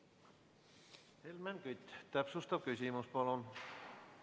Helmen Kütt, täpsustav küsimus, palun!